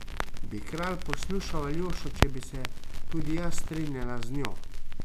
Bi kralj poslušal Aljošo, če bi se tudi jaz strinjala z njo?